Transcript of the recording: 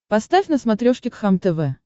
поставь на смотрешке кхлм тв